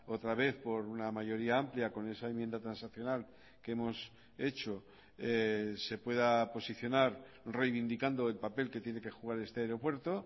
otra vez por una mayoría amplía con esa enmienda transaccional que hemos hecho se pueda posicionar reivindicando el papel que tiene que jugar este aeropuerto